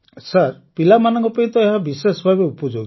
sir ପିଲାମାନଙ୍କ ପାଇଁ ତ ଏହା ବିଶେଷ ଭାବେ ଉପଯୋଗୀ